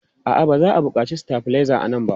A'a, ba za a buƙaci stabilizer a nan ba.